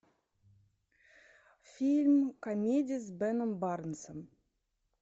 фильм комедия с беном барнсом